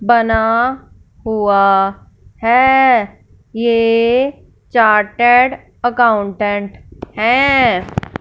बना हुआ है ये चार्टर्ड अकाउंटेंट है।